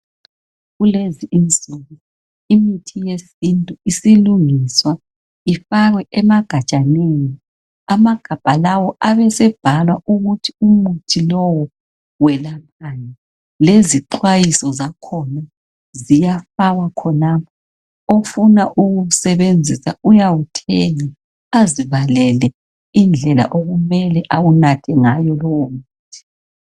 Kulezi insuku imithi yesintu usilungiswa ifakwe emagajaneni amagabha lawa ebesebhalwa ukuthi umuthi lowo welaphani lezixwayiso zakhona ziyafakwa khonapho ofuna ukuwusebenzisa uyawuthenga azibalele indlela okumele ewunathe ngawo lowo muthi